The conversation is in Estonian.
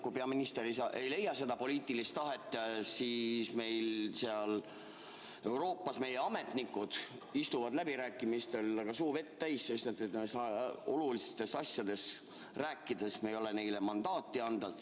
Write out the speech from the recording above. Kui peaminister ei leia seda poliitilist tahet, siis seal Euroopas meie ametnikud istuvad läbirääkimistel, suu vett täis, sest olulistest asjadest rääkides me ei ole neile mandaati andnud.